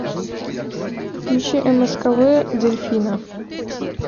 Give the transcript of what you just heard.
включи мскв дельфина